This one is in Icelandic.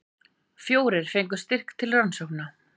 Fjórir fengu styrk til rannsókna